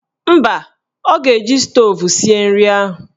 Mba, ọ ga-eji stoovu sie nri ahụ